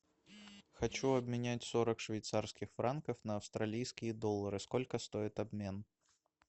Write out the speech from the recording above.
хочу обменять сорок швейцарских франков на австралийские доллары сколько стоит обмен